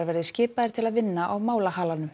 verði skipaðir til að vinna á